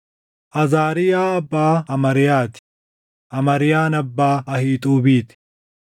Azaariyaa abbaa Amariyaa ti; Amariyaan abbaa Ahiixuubii ti;